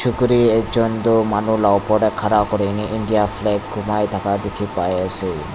chukuri ekjon tu manu la opor tae khara kurina india flag khumai thaka dikhipaiase.